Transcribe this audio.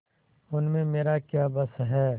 उसमें मेरा क्या बस है